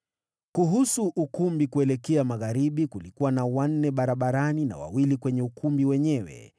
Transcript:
Kuhusu ukumbi kuelekea magharibi, kulikuwa na wanne barabarani na wawili kwenye ukumbi wenyewe.